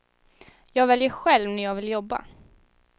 Jag väljer själv när jag vill jobba.